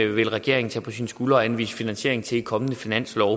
vil regeringen tage på sine skuldre og anvise finansiering til i kommende finanslove